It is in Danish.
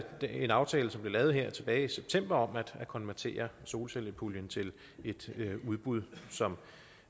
en aftale som blev lavet tilbage i september om at konvertere solcellepuljen til et udbud som